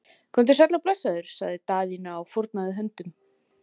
Komdu sæll og blessaður, sagði Daðína og fórnaði höndum.